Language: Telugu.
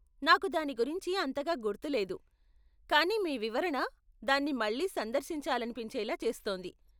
నాకు దాని గురించి అంతగా గుర్తు లేదు, కానీ మీ వివరణ దాన్ని మళ్ళీ సందర్శించాలనిపించేలా చేస్తోంది.